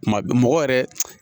Tuma bɛ mɔgɔ yɛrɛ